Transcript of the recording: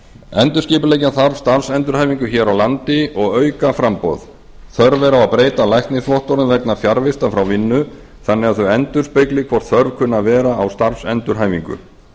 endurskipuleggja þarf starfsendurhæfingu hér á landi og auka framboð þörf er á að breyta læknisvottorðum vegna fjarvista frá vinnu þannig að þau endurspegli hvort þörf kunni að vera á starfsendurhæfingu